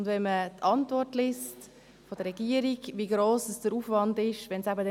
In der Antwort der Regierung liest man, wie gross der Aufwand wäre, wenn es nicht mehr so wäre.